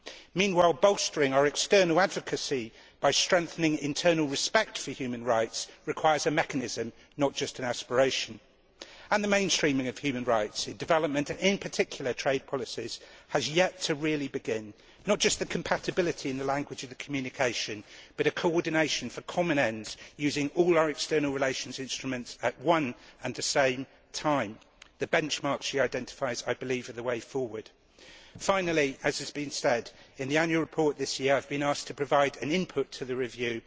Meanwhile bolstering our external advocacy, by strengthening internal respect for human rights, requires a mechanism not just an aspiration. The mainstreaming of human rights a development in particular trade policies has yet to really begin, not just compatibility in the language of the communication but coordination for common ends, using all our external relations instruments at one and the same time. I believe the benchmarks she identifies are the way forward. Finally, as has been said, in the annual report this year I have been asked to provide an input to the review